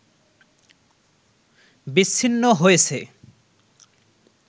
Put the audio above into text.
বিচ্ছিন্ন হয়েছে